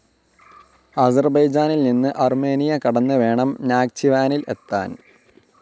അസർബൈജാനിൽ നിന്ന് അർമേനിയ കടന്ന് വേണം നാക്ചിവാനിൽ എത്താൻ.